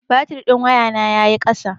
Batir ɗin wayana ya yi ƙasa.